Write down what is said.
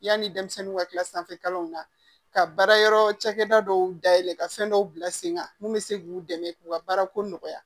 Yanni denmisɛnninw ka kila sanfɛ kalanw na ka baara yɔrɔ cakɛda dɔw dayɛlɛ ka fɛn dɔw bila sen kan mun bɛ se k'u dɛmɛ u ka baara ko nɔgɔya